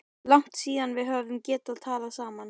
Langt síðan við höfum getað talað saman.